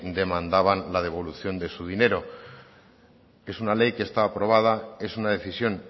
demandaban la devolución de su dinero que es una ley que está aprobada es una decisión